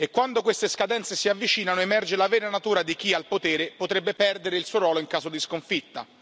Quando queste scadenze si avvicinano, emerge la vera natura di chi al potere potrebbe perdere il suo ruolo in caso di sconfitta.